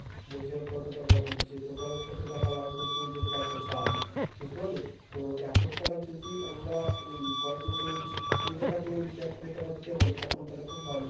বলছে কত টাকা হচ্ছে total কত টাকা লাগবে কুড়িটা truck এর দাম? বুঝতে পারলি? তো এক কোটি টাকা যদি আমরা এই কয়েক মাসের মধ্যে যদি কুড়িটা truck নেই যদি এক কোটি টাকা দিতে পারি এখন তাইলে খুব ভালো।